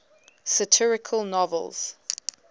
satirical novels